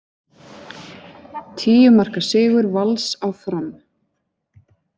Tíu marka sigur Vals á Fram